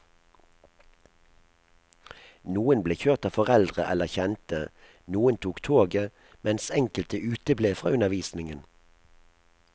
Noen ble kjørt av foreldre eller kjente, noen tok toget, mens enkelte uteble fra undervisningen.